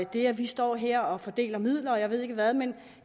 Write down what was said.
det at vi står her og fordeler midler og jeg ved ikke hvad men